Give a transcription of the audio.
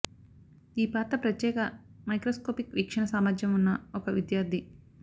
ఈ పాత్ర ప్రత్యేక మైక్రోస్కోపిక్ వీక్షణ సామర్థ్యం ఉన్న ఒక విద్యార్థి